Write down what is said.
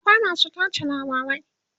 akwai masu tace labarai